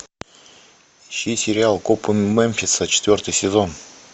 ищи сериал копы мемфиса четвертый сезон